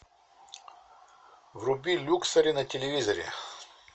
вруби люксери на телевизоре